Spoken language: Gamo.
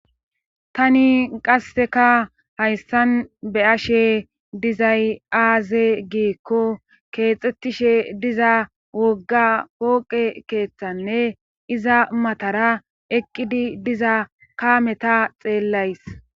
tani qasseka hayssan be ashe dizay aaze giikko keexxettishe diza wogga pooqe keeththanne iza matara eqqidi diza kaameta xeellays